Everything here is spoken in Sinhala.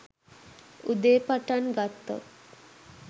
උදේ පටන් ගත්තොත්